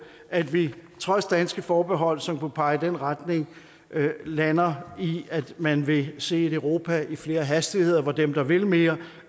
at vi trods danske forbehold som kunne pege i den retning lander i at man vil se et europa i flere hastigheder hvor dem der vil mere